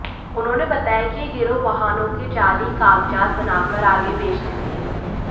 उन्होंने बताया कि यह गिरोह वाहनों के जाली कागजात बनाकर आगे बेचते थे